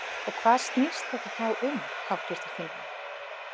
Og hvað snýst þetta þá um háttvirtir þingmenn?